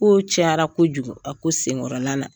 Kow cayara kojugu a ko senkɔrɔla la.